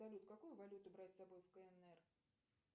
салют какую валюту брать с собой в кнр